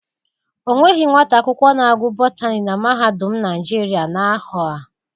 Onweghị nwata akwụkwọ na-agụ Botani na Mahadum Naijiria na ahọ a.